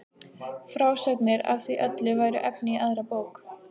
Frásagnir af því öllu væru efni í aðra bók.